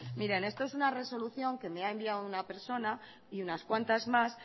miren esto es una resolución que me ha enviado una persona y unas cuantas más